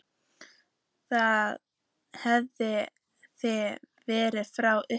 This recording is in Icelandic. Þannig hefur það verið frá upphafi.